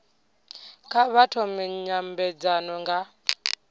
kha vha thome nymbedzano nga